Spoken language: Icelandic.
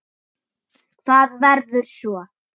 Hvað verður svo?